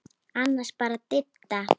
Annars bara Didda.